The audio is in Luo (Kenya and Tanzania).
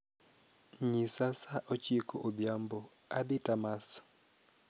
nyisa saa ochiko odhiambo adhii tamas